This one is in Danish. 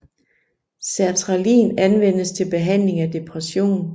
Sertralin anvendes til behandling af depression